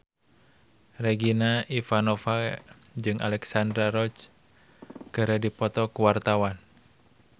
Regina Ivanova jeung Alexandra Roach keur dipoto ku wartawan